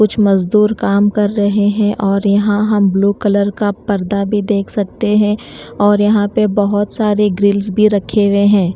कुछ मजदूर काम कर रहे हैं और यहां हम ब्लू कलर का पर्दा भी देख सकते हैं और यहां पर बहोत सारे ग्रिल्स भी रखे हुए है।